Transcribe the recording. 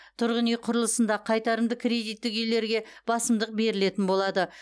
тұрғын үй құрылысында қайтарымды кредиттік үйлерге басымдық берілетін болады